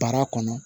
Baara kɔnɔ